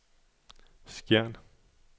Skjern